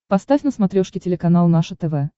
поставь на смотрешке телеканал наше тв